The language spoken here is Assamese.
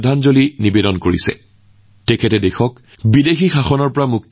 লালা জী আছিল স্বাধীনতা সংগ্ৰামৰ এগৰাকী সংগ্ৰামী যিয়ে আমাক বিদেশী শাসনৰ পৰা মুক্ত কৰিবলৈ প্ৰাণ আহুতি দিছিল